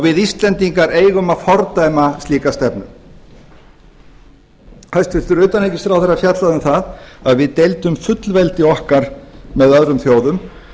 við íslendingar eigum að fordæma slíka stefnu hæstvirts utanríkisráðherra fjallaði um það að við deildum fullveldi okkar með öðrum þjóðum